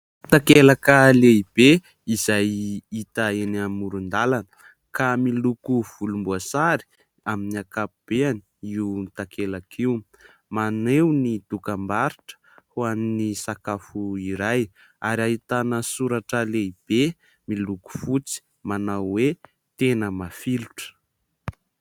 Takelaka lehibe izay hita eny amoron-dalana ka miloko volomboasary amin'ny ankapobeny io takelaka io. Maneho ny dokambarotra ho an'ny sakafo iray ary ahitana soratra lehibe miloko fotsy manao hoe : "Tena mafilotra".